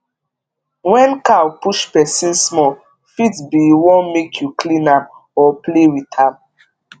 wen cow push pesin small fit be e wan make u clean am or play with am